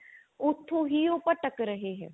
ਉਥੋਂ ਹੀ ਉਹ ਭਟਕ ਰਹੇ ਹੈਂ